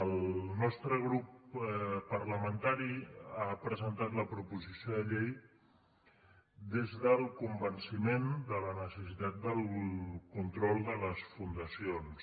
el nostre grup parlamentari ha presentat la proposició de llei des del convenciment de la necessitat del control de les fundacions